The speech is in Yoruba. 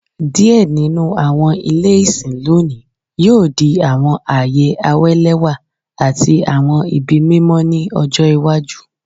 Diẹ ninu awọn ile isin lonii yoo di awọn aaye awalẹwa ati awọn ibi mimọ ni ọjọ iwaju